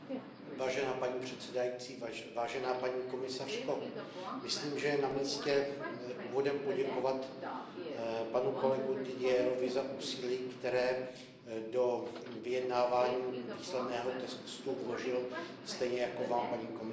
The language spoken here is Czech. Paní předsedající, paní komisařko, myslím, že je na místě úvodem poděkovat panu kolegovi Didierovi za úsilí, které do vyjednávání výsledného textu vložil, stejně jako Vám, paní komisařko.